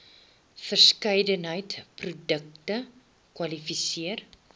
verskeidenheid projekte kwalifiseer